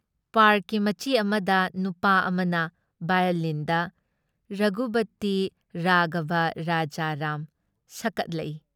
Park ꯃꯆꯤ ꯃꯗ ꯅꯨꯄꯥ ꯑꯃꯅ ꯚꯥꯑꯣꯂꯤꯟꯗ "ꯔꯘꯨꯄꯇꯤ ꯔꯥꯘꯕ ꯔꯖꯥ ꯔꯥꯝ..." ꯁꯛꯀꯠꯂꯛꯏ ꯫